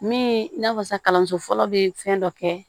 Min n'a fɔ sa kalanso fɔlɔ be fɛn dɔ kɛ